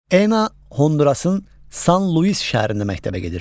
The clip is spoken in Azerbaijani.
Ena Hondurasın San Luis şəhərində məktəbə gedir.